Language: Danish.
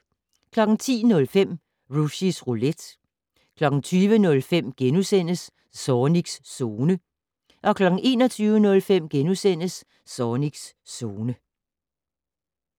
10:05: Rushys Roulette 20:05: Zornigs Zone * 21:05: Zornigs Zone *